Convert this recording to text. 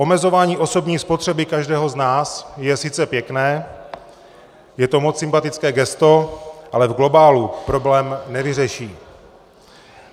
Omezování osobní spotřeby každého z nás je sice pěkné, je to moc sympatické gesto, ale v globálu problém nevyřeší.